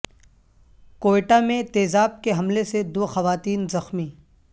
کوئٹہ میں تیزاب کے حملے سے دو خواتین زخمی